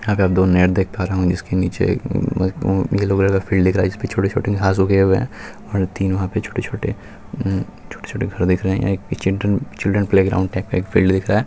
जहां पर दो नेट देख पा रहा हूँ इसके नीचे येलो कलर का फील्ड दिख रहा है इसपे छोटे-छोटे घास उगे हुए हैं और तीन वहां पर छोटे-छोटे उ उ छोटे-छोटे घर दिख रहे है यह एक चिल्ड्रन प्लेग्राउंड एक फील्ड दिख रहा है।